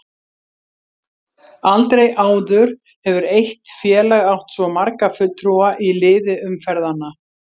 Aldrei áður hefur eitt félag átt svo marga fulltrúa í liði umferðanna.